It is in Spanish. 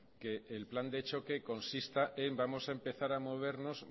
que el plan de choque consista en vamos a empezar a movernos